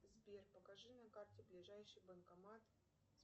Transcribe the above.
сбер покажи на карте ближайший банкомат